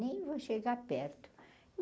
Nem vou chegar perto.